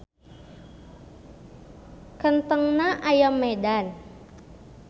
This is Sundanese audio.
Kentengna aya Medan.